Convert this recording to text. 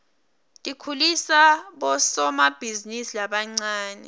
tikhulisa bosomabhizinisi labancane